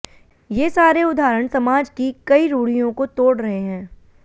ये सारे उदाहरण समाज की कई रूढ़ियों को तोड़ रहे हैं